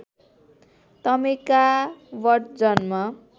टमेका बट जन्म